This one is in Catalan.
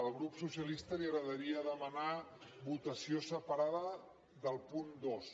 al grup socialista li agradaria demanar votació separada del punt dos